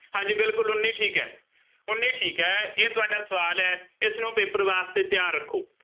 ਹਾਂਜੀ ਬਿਲਕੁੱਲ ਉੱਨੀ ਠੀਕ ਹੈ। ਉੱਨੀ ਠੀਕ ਹੈ, ਇਹ ਤੁਹਾਡਾ ਸਵਾਲ ਹੈ, ਇਸਨੂੰ paper ਵਾਸਤੇ ਤਿਆਰ ਰੱਖੋ।